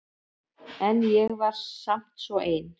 En ég var samt svo ein.